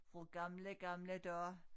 Fra gamle gamle dage